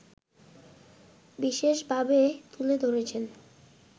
বিশেষ ভাবে তুলে ধরেছেন